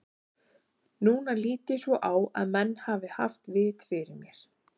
Núna lít ég svo á að menn hafi haft vit fyrir mér.